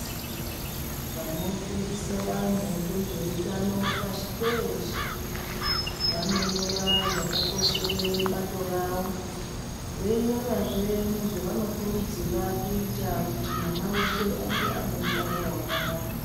Vanofundisa vantu nezvehutano pashi peshe vanonyora zvakakoshere bato ravo veinyora zvenezvavano kurudzira kuita kuti mwana wese ange ane hutano hwakanaka.